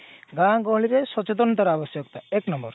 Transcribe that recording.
ଗାଁ ଗହଳିରେ ସଚେତନତାର ଆବଶ୍ୟକ ଏକ number